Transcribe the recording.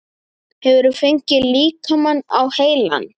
Hefurðu fengið líkamann á heilann?